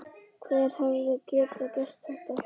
Hver hefði getað gert þetta?